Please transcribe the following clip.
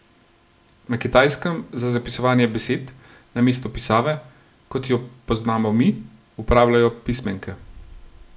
Na Kitajskem za zapisovanje besed, namesto pisave, kot jo poznamo mi, uporabljajo pismenke.